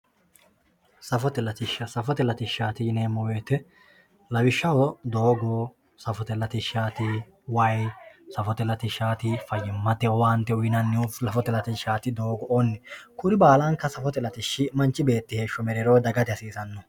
safote latishsha safote latishshaati yineemo woyiite lawishshaho doogo safote latishshaati wayi safote latishshaat fayyimate owaante uyiinayihu safote latishshaat doogo"oo kuri baalankka safote lattishshi manch beetti mereerodagate hasiisanno.